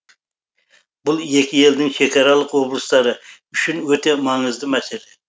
бұл екі елдің шекаралық облыстары үшін өте маңызды мәселе